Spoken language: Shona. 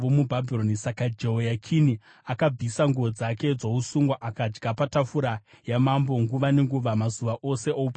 Saka Jehoyakini akabvisa nguo dzake dzousungwa akadya patafura yamambo nguva nenguva, mazuva ose oupenyu hwake.